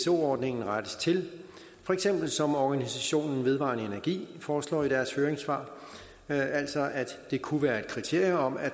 ordningen rettes til for eksempel som organisationen vedvarendeenergi foreslår i deres høringssvar altså at det kunne være et kriterium at